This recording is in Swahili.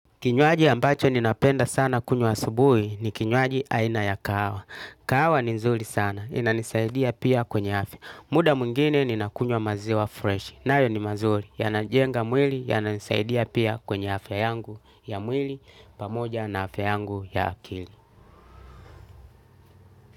Kinywaji ambacho ninapenda sana kunywa asubuhi ni kinywaji aina ya kaawa. Kaawa ni nzuri sana, inanisaidia pia kwenye afya. Muda mwingine ninakunywa maziwa fresh. Nayo ni maziwa, yanajenga mwili, yananisaidia pia kwenye afya yangu, ya mwili, pamoja na afya yangu ya akili.